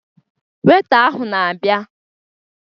Weita ahụ na-abịa